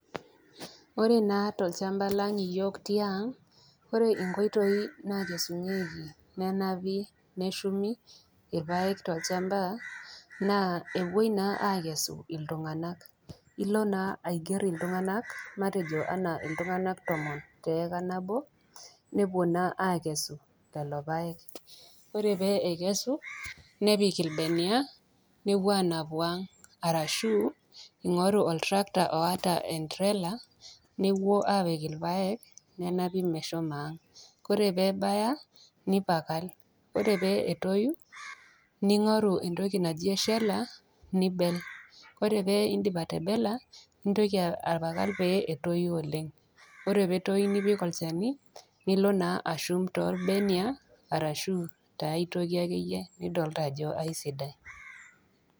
Ore naa tolchamba lang iyook tiang, ore inkoitoi nakesunyieki, nenapi, neshumi ilpaek tolchamba, naa ewoi naa akesu iltung'ana. Ilo naa aiger iltung'ana, matejo iltung'ana tomon pee ewuo naa akesu lelo paek. Ore pee ekesu, nepik ilbenia pee ewuo anapu ang' arashu ing'oru oltractor oata entrela, newoi apik ilpaek, nenapi mesho ang'. Ore pee ebaya, nipakal, ore pee etoyu, ning'oru entoki naji eshela, nibel. Ore pee indip atebella, nintoki apakal pee etoyu oleng. Ore pee etoyu nipik olchani nilo naa ashum tolbenia arashu tiai toki akeyie nidolita ajo aisidai.